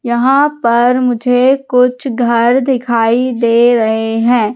यहां पर मुझे कुछ घर दिखाई दे रहे हैं।